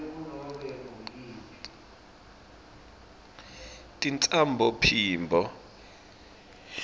tintsambophimbo